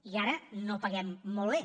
i ara no paguem molt bé